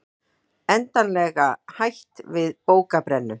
Endanlega hætt við bókabrennu